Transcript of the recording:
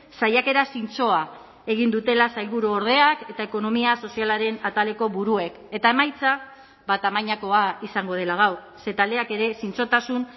saiakera zintzoa egin dutela sailburuordeak eta ekonomia sozialaren ataleko buruek eta emaitza tamainakoa izango dela gaur ze taldeak ere zintzotasun